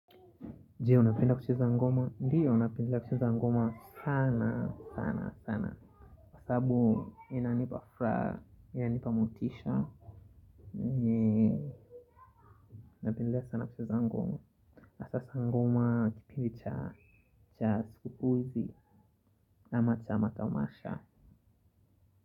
Je? Unapenda kucheza ngoma? Ndiyo, napenda kucheza ngoma sana sana sana sana. Kwa sababu inanipa furaha inanipa motisha. Ndiyo, napenda sana kucheza ngoma hasahasa ngoma kipindi cha sikukuu hizi na matamasha.